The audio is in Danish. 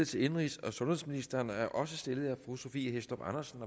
til indenrigs og sundhedsministeren og er også stillet af fru sophie hæstorp andersen